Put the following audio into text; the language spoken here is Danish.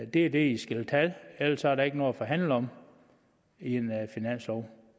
det er det i skal tage ellers er der ikke noget at forhandle om i en finanslov